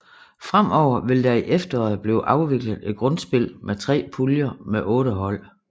Fremover vil der i efteråret blive afviklet et grundspil med 3 puljer med 8 hold